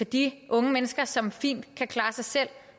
de unge mennesker som fint kan klare sig selv